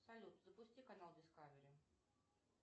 салют запусти канал дискавери